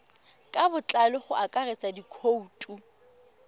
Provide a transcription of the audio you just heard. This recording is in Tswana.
ka botlalo go akaretsa dikhoutu